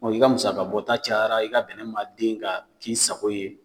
i ka musaka bɔta cayara, i ka bɛnɛ ma den ka k'i sago ye